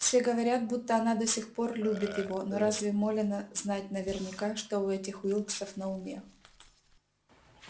все говорят будто она до сих пор любит его но разве молено знать наверняка что у этих уилксов на уме